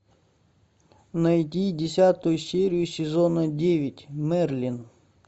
найди десятую серию сезона девять мерлин